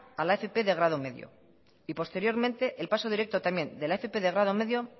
a la fp de grado medio y posteriormente el paso directo también de la fp de grado medio